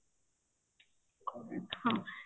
ହଁ